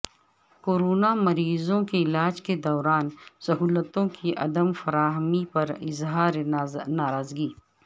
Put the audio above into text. corona مریضوں کے علاج کے دوران سہولتوں کی عدم فراہمی پر اظہار ناراضگی